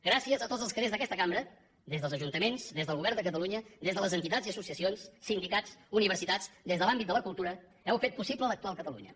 gràcies a tots els que des d’aquesta cambra des dels ajuntaments des del govern de catalunya des de les entitats i associacions sindicats universitats des de l’àmbit de la cultura heu fet possible l’actual catalunya